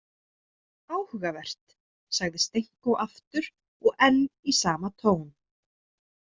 Áhugavert, sagði Stenko aftur og enn í sama tón.